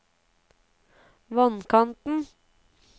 vannkanten